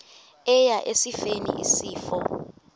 eya esifeni isifo